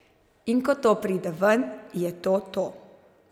In ko to pride ven, je to to.